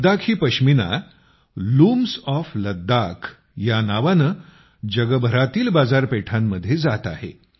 Ladakhi pashmina looms of लद्दाखनावाने जगभरात बाजारपेठांत जात आहे